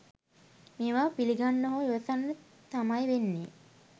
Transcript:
මේවා පිළිගන්ඩ හෝ ඉවසන්ද තමය් වෙන්නේ